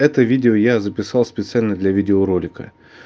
это видео я записал специально для видеоролика